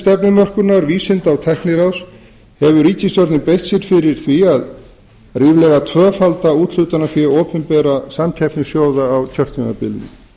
stefnumörkunar vísinda og tækniráðs hefur ríkisstjórnin beitt sér fyrir að ríflega tvöfalda úthlutunarfé opinberra samkeppnissjóða á kjörtímabilinu